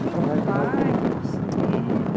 Você trabalha, trabalha... Nem um baile, um cinema...